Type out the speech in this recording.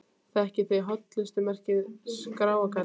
Þekkið þið hollustumerkið Skráargatið?